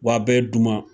Wa a bɛ duman